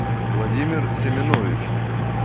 владимир семенович